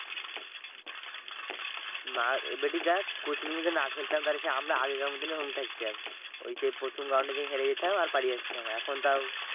না এবারটি দেখ coach নিয়ে যদি না খেলতাম তাহলে সে আমরা আগের কার মতোনই ওইরকম থাকতাম। ওই যে প্রথম round এ যেই হেড়ে যেতাম আর পালিয়ে আসতাম। এখন তাও